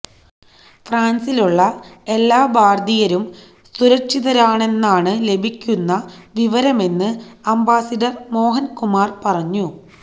ഫ്രാന്സിലുള്ള എല്ലാ ഭാരതീയരും സുരക്ഷിതരാണെന്നാണ് ലഭിക്കുന്ന വിവരമെന്ന് അംബാസിഡര് മോഹന് കുമാര് പറഞ്ഞു